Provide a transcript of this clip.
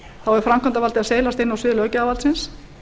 þá er framkvæmdarvaldið að seilast inn á svið löggjafarvaldsins